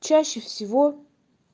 чаще всего